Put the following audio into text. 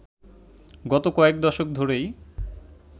গত কয়েক দশক ধরেই